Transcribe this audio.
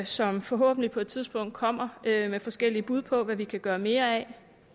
som forhåbentlig på et tidspunkt kommer med forskellige bud på hvad vi kan gøre mere af